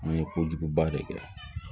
N ye kojuguba de kɛ